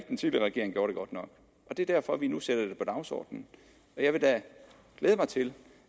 den tidligere regering gjorde det godt nok og det er derfor vi nu sætter det på dagsordenen og jeg vil da glæde mig til